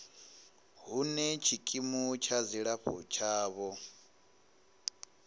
hune tshikimu tsha dzilafho tshavho